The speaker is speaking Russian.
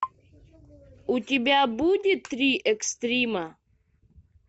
у тебя будет три экстрима